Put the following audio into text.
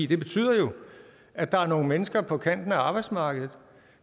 det betyder jo at der er nogle mennesker på kanten af arbejdsmarkedet